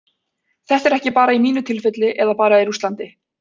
Þetta er ekki bara í mínu tilfelli eða bara í Rússlandi.